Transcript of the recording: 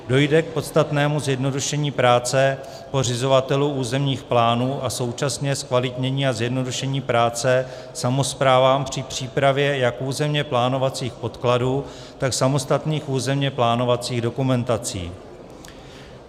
Dojde k podstatnému zjednodušení práce pořizovatelů územních plánů a současně zkvalitnění a zjednodušení práce samospráv při přípravě jak územně plánovacích podkladů, tak samostatných územně plánovacích dokumentací.